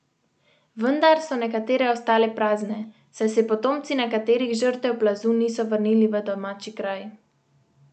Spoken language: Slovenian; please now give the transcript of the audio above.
Vendar so nekatere ostale prazne, saj se potomci nekaterih žrtev plazu niso vrnili v domači kraj.